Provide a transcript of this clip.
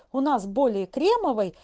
у нас более кремовый